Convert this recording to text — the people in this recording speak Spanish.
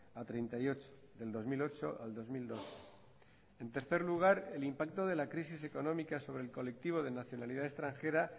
a treinta y ocho del dos mil ocho al dos mil doce en tercer lugar el impacto de la crisis económica sobre el colectivo de nacionalidad extranjera